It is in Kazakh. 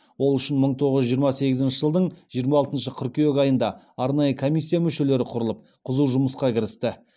ол үшін мың тоғыз жүз жиырма сегізінші жылдың жиырма алтыншы қыркүйек айында арнайы комиссия мүшелері құрылып қызу жұмысқа кірісті